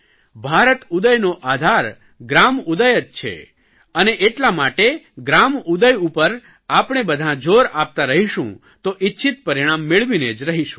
ભારત ઉદયનો આધાર ગ્રામ ઉદય જ છે અને એટલા માટે ગ્રામ ઉદય ઉપર આપણે બધાં જોર આપતાં રહીશું તો ઇચ્છિત પરિણામ મેળવીને જ રહીશું